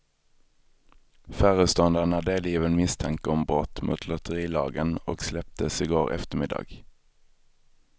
Föreståndaren är delgiven misstanke om brott mot lotterilagen och släpptes i går eftermiddag.